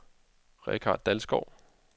Richard Dalsgaard